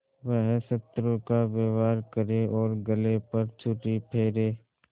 वह शत्रु का व्यवहार करे और गले पर छुरी फेरे